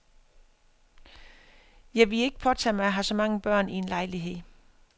Jeg ville ikke påtage mig at have så mange børn i en lejlighed.